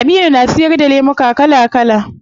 Aminu na siyar da lemuka kala kala